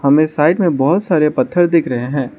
हमें साइड में बहोत सारे पत्थर दिख रहे हैं।